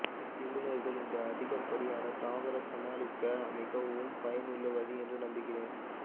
நிபுணர்கள் இந்த அதிகப்படியான தாவர சமாளிக்க மிகவும் பயனுள்ள வழி என்று நம்புகிறேன்